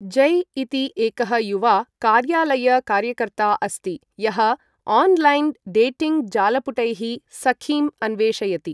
जै इति एकः युवा कार्यालय कार्यकर्ता अस्ति यः ओन्लैन् डेटिङ्ग् जालपुटैः सखीम् अन्वेषयति।